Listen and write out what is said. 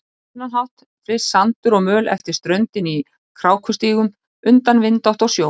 Á þennan hátt flyst sandur og möl eftir ströndinni í krákustígum undan vindátt og sjó.